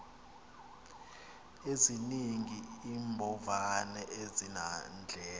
ezininzi iimbovane azinandlela